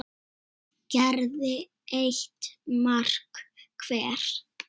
gerði eitt mark hver.